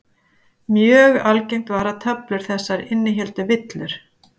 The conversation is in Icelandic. Mjög algengt var að töflur þessar innihéldu villur.